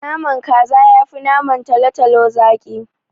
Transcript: Naman kaza yafi naman talotalo zaki.